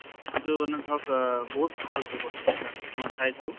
ইটো মানে ধৰক আহ বহুত ভাল ব্য়ৱস্থা মই চাইছো